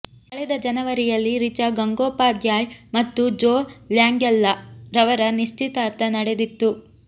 ಕಳೆದ ಜನವರಿಯಲ್ಲಿ ರಿಚಾ ಗಂಗೋಪಾಧ್ಯಾಯ್ ಮತ್ತು ಜೋ ಲ್ಯಾಂಗೆಲ್ಲಾ ರವರ ನಿಶ್ಚಿತಾರ್ಥ ನಡೆದಿತ್ತು